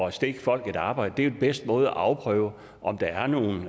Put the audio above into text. at stikke folk et arbejde det er den bedste måde at afprøve om der er nogen